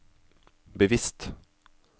bevisst